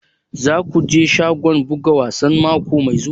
Za ku je shagon buga wasa mako mai zuwa?